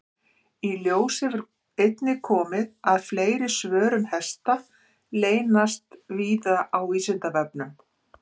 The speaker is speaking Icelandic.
Í ljós hefur einnig komið að fleiri svör um hesta leynast víða á Vísindavefnum.